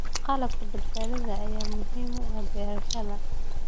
Qalabka badbaadada ayaa muhiim u ah beerashada.